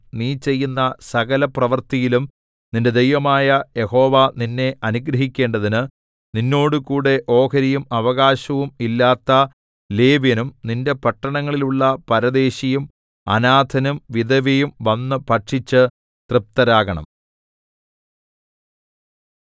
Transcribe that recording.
നീ ചെയ്യുന്ന സകലപ്രവൃത്തിയിലും നിന്റെ ദൈവമായ യഹോവ നിന്നെ അനുഗ്രഹിക്കേണ്ടതിന് നിന്നോടുകൂടെ ഓഹരിയും അവകാശവും ഇല്ലാത്ത ലേവ്യനും നിന്റെ പട്ടണങ്ങളിലുള്ള പരദേശിയും അനാഥനും വിധവയും വന്ന് ഭക്ഷിച്ച് തൃപ്തരാകണം